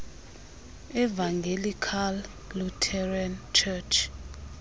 evangelical lutheran church